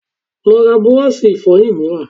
Lọ ra búrọ́ọ̀ṣì Ìfọ̀yín mìíràn